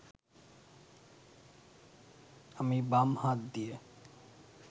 আমি বাম হাত দিয়ে